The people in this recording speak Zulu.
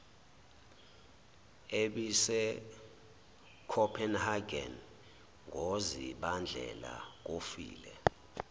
ebisecopenhagen ngozibandlela kofile